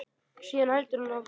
Síðan heldur hann áfram.